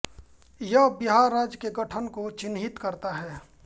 यह बिहार राज्य के गठन को चिह्नित करता है